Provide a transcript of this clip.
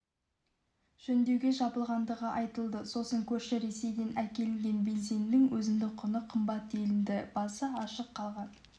жөндеуге жабылғандығы айтылды сосын көрші ресейден әкелінген бензиннің өзіндік құны қымбат делінді басы ашық қалған